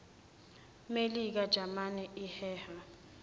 melika jalimane iheha